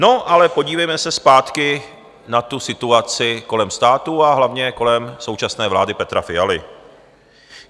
No ale podívejme se zpátky na tu situaci kolem státu a hlavně kolem současné vlády Petra Fialy.